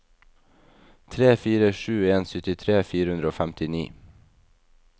tre fire sju en syttitre fire hundre og femtini